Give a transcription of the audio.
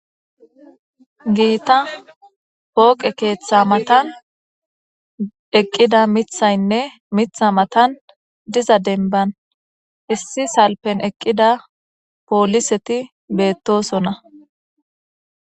giita pooqe keeththa matan eqqida mithaynne mitha matan diza denban issi salpen eqqida pooliseti beettosona